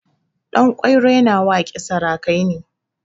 Ɗanƙwairo yana waƙe sarakai ne.